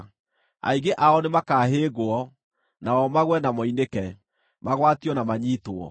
Aingĩ ao nĩmakahĩngwo; nao magũe na moinĩke, magwatio na manyiitwo.”